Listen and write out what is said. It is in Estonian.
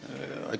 Aitäh!